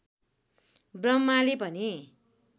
ब्रह्माले भने